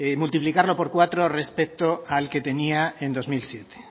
multiplicarlo por cuatro respecto al que tenía en dos mil siete